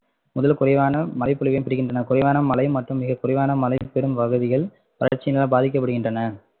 முதல் பொழிவான மழைபொழிவையும் பெறுகின்றன. குறைவான மழை மற்றும் மிகக்குறைவான மழை பெரும் பகுதிகள் வறட்சியினால் பாதிக்கப்படுகின்றன